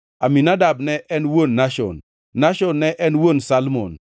Aminadab ne en wuon Nashon, Nashon ne en wuon Salmon,